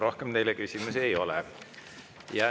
Rohkem teile küsimusi ei ole.